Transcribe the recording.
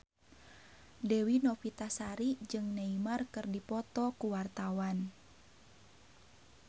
Dewi Novitasari jeung Neymar keur dipoto ku wartawan